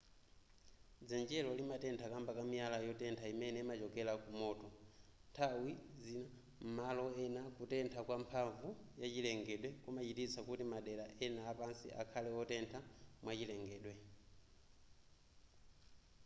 dzenjelo limatentha kamba ka miyala yotentha imene imachokera kumoto nthawi zima m'malo ena kutentha kwa mphamvu ya chilengedwe kumachititsa kuti madera ena apansi akhale wotentha mwachilengedwe